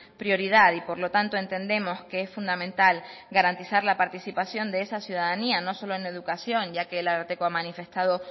prioridad y por lo tanto entendemos que es fundamental garantizar la participación de esa ciudadanía no solo en educación ya que el ararteko ha manifestado